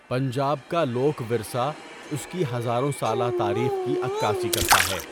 پنجاب کا لوک ورثہ اس کی ہزاروں سالہ تاریخ کی عکاسی کرتا ہے۔